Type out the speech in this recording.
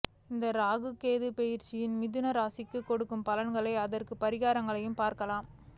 இந்த ராகு கேது பெயர்ச்சி மிதுன ராசிக்கும் கொடுக்கும் பலன்களையும் அதற்கான பரிகாரங்களையும் பார்க்கலாம்